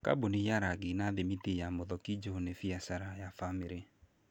Kambuni ya rangi na thimiti ya Muthokinju nĩ biacara ya bamĩrĩ.